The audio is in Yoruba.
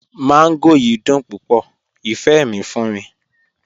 Mangò yiì dùn púpọ̀, ifẹ́ mi fún mi.